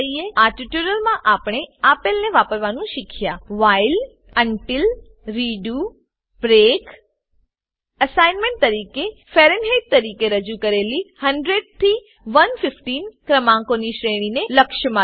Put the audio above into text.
આ ટ્યુટોરીયલમાં આપણે આપેલને વાપરવાનું શીખ્યા while while loop until until બંધારણ રેડો રીડૂ બ્રેક બ્રેક બંધારણ એસાઇનમેંટ તરીકે ફેરનહેઇટ તરીકે રજુ કરેલી 100 થી 115 સહિત ક્રમાંકોની શ્રેણીને લક્ષમાં લો